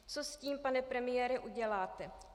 Co s tím, pane premiére, uděláte?